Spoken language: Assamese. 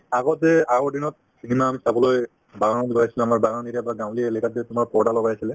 আগতে আগৰ দিনত সিদিনা আমি চাবলৈ বাগানত গৈ আছিলো আমাৰ বাগান area ৰ পৰা গাঁৱলীয়া এলেকাত যে তোমাৰ পৰ্দা লগাই আছিলে